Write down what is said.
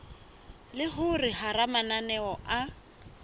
le hore hara mananeo a